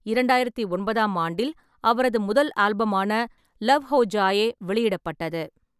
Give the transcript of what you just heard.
இரண்டாயிரத்து ஒன்பதாம் ஆண்டில், அவரது முதல் ஆல்பமான லவ் ஹோ ஜாயே வெளியிடப்பட்டது.